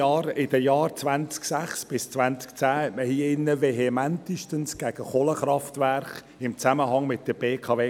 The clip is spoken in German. Schon in den Jahren 2006–2010 kämpfte man hier drin vehementestens gegen Kohlekraftwerke im Zusammenhang mit der BKW.